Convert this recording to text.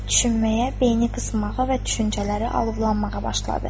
Düşünməyə, beyni qısnamağa və düşüncələri alovlanmağa başladı.